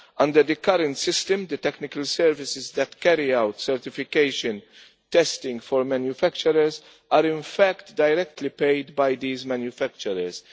Under the current system, the technical services that carry out certification testing for manufacturers are, in fact, directly paid by these manufacturers.